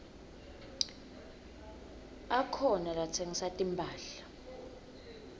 akhona latsengisa timphahla